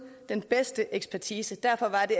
den bedste ekspertise derfor var det